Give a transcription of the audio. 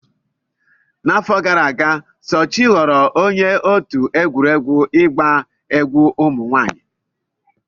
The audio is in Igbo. N'afọ gara aga, Sochi ghọrọ onye otu egwuregwu ịgba egwu ụmụ nwanyị.